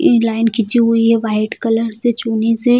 ये लाइन खींची हुई है वाइट कलर से चूने से।